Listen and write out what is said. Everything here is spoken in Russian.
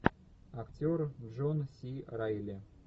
актер джон си райли